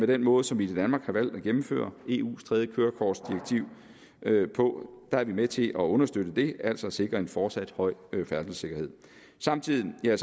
den måde som vi i danmark har valgt at gennemføre eus tredje kørekortdirektiv på er med til at understøtte det altså sikre en fortsat høj færdselssikkerhed samtidig er